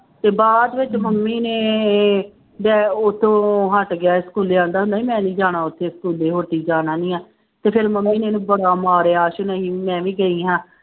ਤੇ ਬਾਅਦ ਵਿੱਚ ਮੰਮੀ ਨੇ ਡੈ ਉੱਥੋਂ ਹਟ ਗਿਆ ਸਕੂਲੇ ਕਹਿੰਦਾ ਹੁੰਦਾ ਸੀ ਮੈਂ ਨੀ ਜਾਣਾ ਉੱਥੇ ਸਕੂਲੇ ਹੋਟੀ ਜਾਣਾ ਨੀ ਆਂ ਤੇ ਫਿਰ ਮੰਮੀ ਨੇ ਇਹਨੂੰ ਬੜਾ ਮਾਰਿਆ ਆਸੂ ਨਹੀਂ ਮੈਂ ਵੀ ਗਈ ਹਾਂ।